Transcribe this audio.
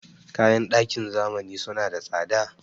Kayan ɗakin zamani suna da tsada.